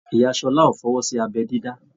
Ìyá Ṣọlá o fọwọsi abẹ dídá.